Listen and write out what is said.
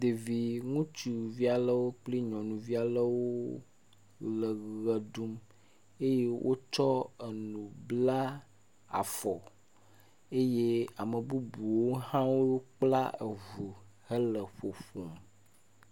Ɖevi ŋutsuvia lewo kple nyɔnuvia lewo le ʋe ɖum eye wotsɔ enu bla afɔ, eye ame bubuwo hã wokpla eŋu hele ƒoƒom.